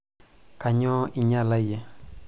kanyoo inyala iyie